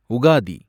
Ugadi